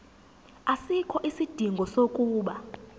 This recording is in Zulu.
asikho isidingo sokuba